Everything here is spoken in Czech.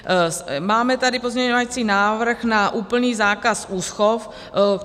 Máme tady pozměňovací návrh na úplný zákaz úschov.